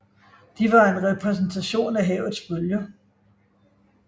De var en repræsentation af havets bølger